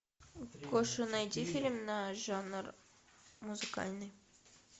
гоша найди фильм на жанр музыкальный